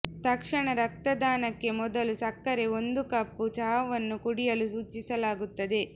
ತಕ್ಷಣ ರಕ್ತದಾನಕ್ಕೆ ಮೊದಲು ಸಕ್ಕರೆ ಒಂದು ಕಪ್ ಚಹಾವನ್ನು ಕುಡಿಯಲು ಸೂಚಿಸಲಾಗುತ್ತದೆ